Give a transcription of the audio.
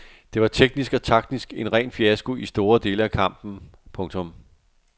Det var teknisk og taktisk en ren fiasko i store dele af kampen. punktum